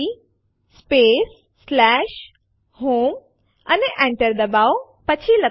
આ અને બીજા ઘણા હેતુઓ માટે આપણે સીએમપી આદેશ વાપરી શકીએ છીએ